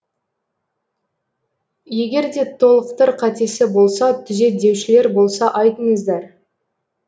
егер де толықтыр қатесі болса түзет деушілер болса айтыңыздар